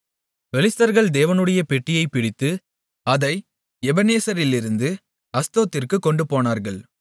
பெலிஸ்தர்கள் தேவனுடைய பெட்டியைப் பிடித்து அதை எபெனேசரிலிருந்து அஸ்தோத்திற்குக் கொண்டுபோனார்கள்